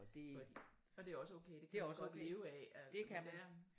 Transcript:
Fordi og det også okay det kan man godt leve af